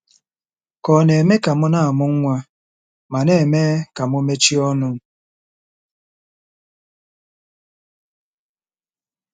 Ka ọ̀ na-eme ka m na-amụ nwa ma na-eme ka m mechie ọnụ? '